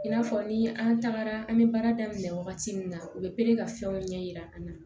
I n'a fɔ ni an tagara an bɛ baara daminɛ wagati min na u bɛ pere ka fɛnw ɲɛ yira an na